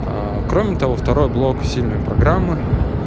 кроме того второй блок сильной программы